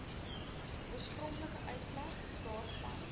oorspronklike uitleg daarvan